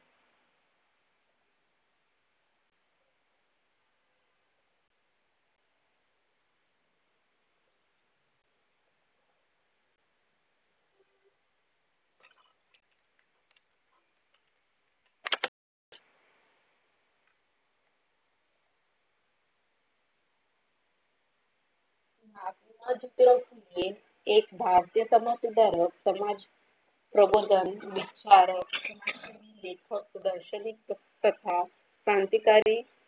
एक भारतीय समाज सुधारक समाज प्रबंधक लेखन दर्षनिक कथा व क्रांति कारी.